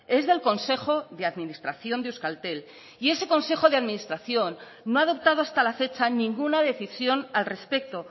es del consejo de administración de euskaltel y ese consejo de administración no ha adoptado hasta la fecha ninguna decisión al respecto